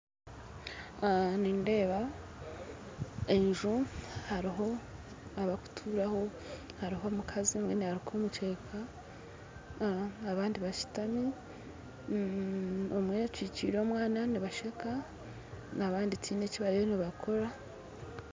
Aha nindeeba enju hariho abarukuturaho hariho omukazi omwe naruka omukyeka aha abandi bashutami omwe akyikire omwana nibasheka abandi tihaine ki bariyo nibakora.